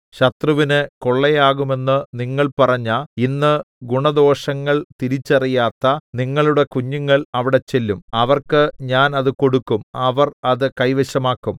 ശത്രുവിന് കൊള്ളയാകുമെന്ന് നിങ്ങൾ പറഞ്ഞ ഇന്ന് ഗുണദോഷങ്ങൾ തിരിച്ചറിയാത്ത നിങ്ങളുടെ കുഞ്ഞുങ്ങൾ അവിടെ ചെല്ലും അവർക്ക് ഞാൻ അത് കൊടുക്കും അവർ അത് കൈവശമാക്കും